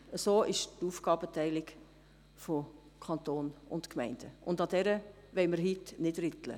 So ist die Aufgabenteilung zwischen Kanton und Gemeinden, und daran wollen wir heute nicht rütteln.